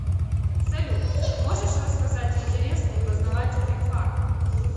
салют можешь рассказать интересный и познавательный факт